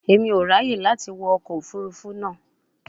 Emi o raye lati wọ ọkọ ofurufu naa